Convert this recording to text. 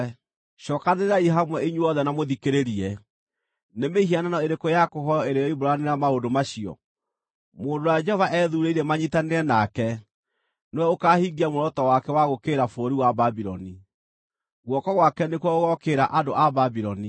“Cookanĩrĩrai hamwe inyuothe na mũthikĩrĩrie: Nĩ mĩhianano ĩrĩkũ ya kũhooywo ĩrĩ yoimbũranĩra maũndũ macio? Mũndũ ũrĩa Jehova ethuurĩire manyiitanĩre nake nĩwe ũkaahingia muoroto wake wa gũũkĩrĩra bũrũri wa Babuloni; guoko gwake nĩkuo gũgookĩrĩra andũ a Babuloni.